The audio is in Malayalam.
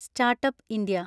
startup India